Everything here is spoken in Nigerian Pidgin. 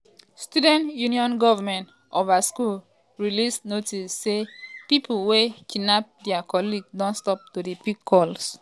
students um union goment um of her school release notice say pipo wey kidnap dia colleague don stop to dey pick calls.